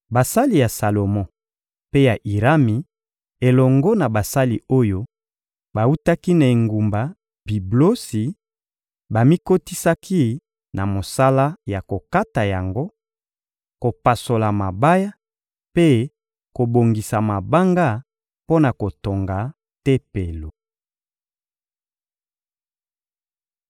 Basali ya Salomo mpe ya Irami, elongo na basali oyo bawutaki na engumba Biblosi, bamikotisaki na mosala ya kokata yango, kopasola mabaya mpe kobongisa mabanga mpo na kotonga Tempelo.